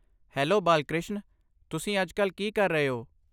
Hello Balkrishna, ਤੁਸੀਂ ਅੱਜਕੱਲ ਕੀ ਕਰ ਰਹੇ ਹੋ?